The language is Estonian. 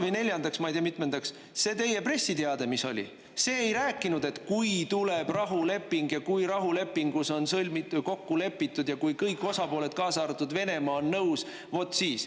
Ja neljandaks, või ma ei tea, mitmendaks, see teie pressiteade, mis oli, see ei rääkinud, et "kui tuleb rahuleping" ja "kui rahulepingus on kokku lepitud" ja "kui kõik osapooled, kaasa arvatud Venemaa, on nõus, vot siis".